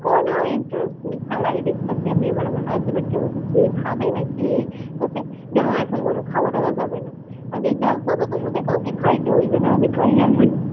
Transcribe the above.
কোন interest নেই খেলায় দেখতাছে আমি আবার আমার husband কে বলছি কি খাবে না কি? বলছে না এখন কোন খাওয়- টাওয়া যাবে না আমি বলছি যাক বাবা তোমাদের কাউকে খাইতে হইবে না আমি খাইয়া লই,